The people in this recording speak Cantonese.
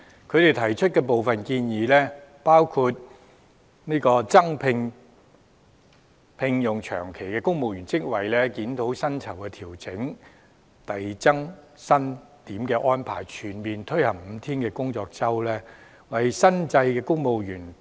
他們提出的部分建議，包括"增加長期聘用職位"、"檢討目前公務員薪酬調整機制下，扣減遞增薪額開支的安排"、"全面推行五天工作周"、"為新制公務員......